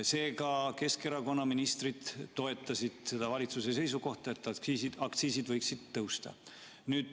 Seega, Keskerakonna ministrid toetasid seda valitsuse seisukohta, et aktsiisid võiksid tõusta.